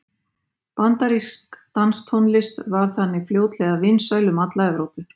Bandarísk danstónlist varð þannig fljótlega vinsæl um alla Evrópu.